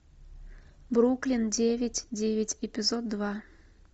бруклин девять девять эпизод два